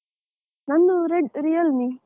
ನಂದು red Realme .